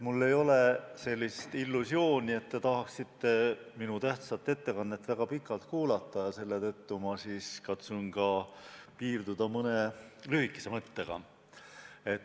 Mul ei ole sellist illusiooni, et te tahaksite minu tähtsat ettekannet väga pikalt kuulata, selle tõttu katsun piirduda mõne lühikese mõttega.